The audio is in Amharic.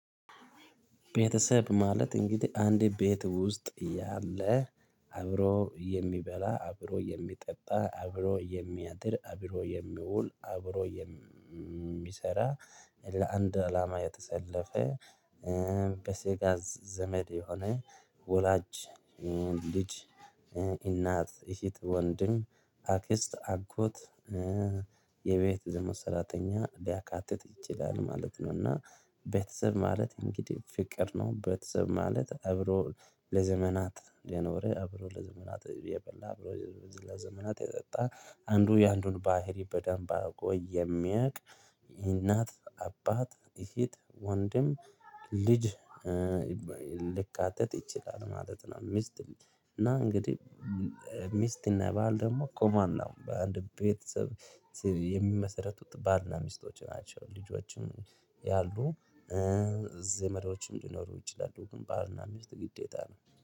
ቤተሰብ ማለት እንግዲህ አንድ ቤት ውስጥ ያለ አብሮ የሚበላ አብሮ የሚጠጣ አብሮ የሚያድር አብሮ የሚውል አብሮ የሚሰራ ለአንድ አላማ የተሰለፈ። በስጋ ዘመድ የሆነ ወላጅ ልጅ እናት የፊት ወንድም አክስት አጎት ዘመን ሰራተኛ ሊያካትት ይችላል ማለት ነው። እና ቤተሰብ ማለት እንግዲህ ፍቅር ነው። ቤተሰብ ማለት አብሮ ለዘመናት የኖርህ አብሮ ለዘመናት የበላ አብሮ ለዘመናት የጠጣ አንዱ የአንዱን ባህሪ በደንብ አርጎ የሚያውቅ። ይህ እናት አባት እህት ወንድም ልጅ ሌካተት ይችላል ማለት ነው። ሚስት እና እንግዲህ ሚስት እና ባል ደግሞ ቆማና በአንድ ቤተሰብ የሚመሰረቱት ባልና ሚስቶች ናቸው። ልጆችም ያሉ ዘመዶችም ይችላሉ ግን ባል እና ሚስት ግዴታ ነው